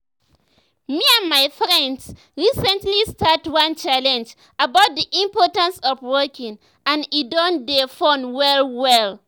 me and my friends recently start one challenge about the importance of walking and e don dey fun well well.